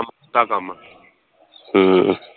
ਹਮ